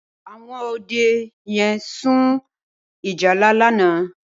Awòn Òdë yèn sún ìjálá làná